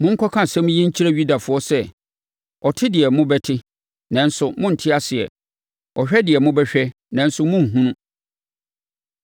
“Monkɔka asɛm yi nkyerɛ Yudafoɔ sɛ, ‘Ɔte deɛ mobɛte, nanso morente aseɛ. Ɔhwɛ deɛ mobɛhwɛ, nanso morenhunu,’